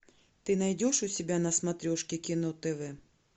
ты найдешь у себя на смотрешке кино тв